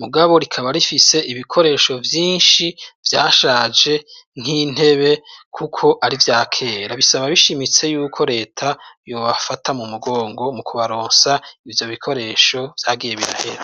mugabo rikaba rifise ibikoresho vyinshi vyashaje nk'intebe kuko ari ivyakera. Bisaba bishimitse yuko leta yobafata mu mugongo mu kubaronsa ivyo bikoresho vyagiye birahera.